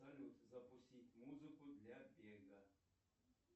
салют запустить музыку для бега